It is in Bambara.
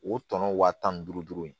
O tɔnɔ wa tan ni duuru ye